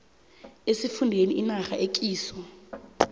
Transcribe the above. esifundeni inarha ekiso